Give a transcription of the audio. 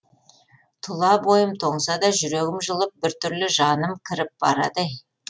тұла бойым тоңса да жүрегім жылып бір түрлі жаным кіріп барады ей